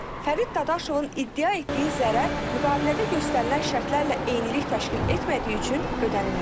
Elə Fərid Dadaşovun iddia etdiyi zərər müqavilədə göstərilən şərtlərlə eynilik təşkil etmədiyi üçün ödənilməyib.